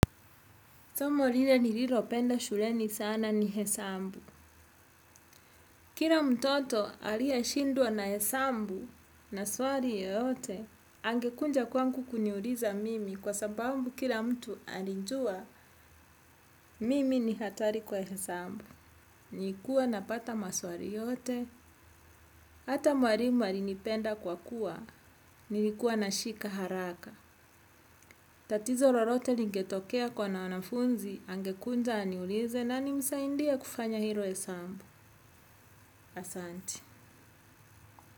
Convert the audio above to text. Somo lile nililopenda shuleni sana ni hesabu. Kila mtoto aliyeshindwa na hesabu na swali yote, angekuja kwangu kuniuliza mimi kwa sababu kila mtu alijua mimi ni hatari kwa hesabu. Nilikuwa napata maswali yotehata mwalimu alinipenda kwa kuwa, nilikuwa nashika haraka. Tatizo lolote lingetokea kuna wanafunzi, angekuja aniulize na nimsaidie kufanya hilo hesabu. Asante.